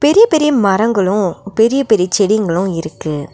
சுத்தி பெரிய மரங்களு பெரியப் பெரிய செடிங்களு இருக்கு.